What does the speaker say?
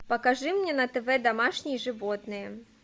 покажи мне на тв домашние животные